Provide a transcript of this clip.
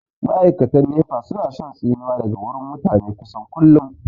Ma'aikatan nefa su na shan tsinuwa daga wurin mutane kusan kullum